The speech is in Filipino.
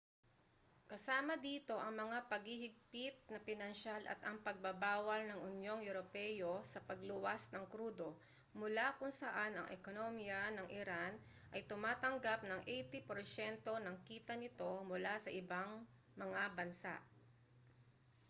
kasama dito ang mga paghihigpit na pinansiyal at ang pagbabawal ng unyong europeo sa pagluwas ng krudo mula kung saan ang ekonomiya ng iran ay tumatanggap ng 80% ng kita nito mula sa ibang mga bansa